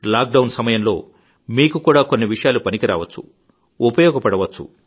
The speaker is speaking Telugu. లాక్ డౌన్ సమయంలో మీకు కూడా కొన్ని విషయాలు పనికి రావచ్చు ఉపయోగపడవచ్చు